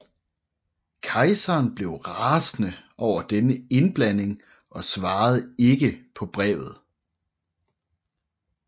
Kejseren blev rasende over denne indblanding og svarede ikke på brevet